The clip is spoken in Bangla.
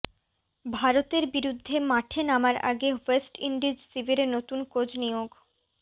ভারতের বিরুদ্ধে মাঠে নামার আগে ওয়েস্ট ইন্ডিজ শিবিরে নতুন কোচ নিয়োগ